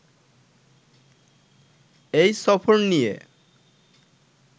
এই সফর নিয়ে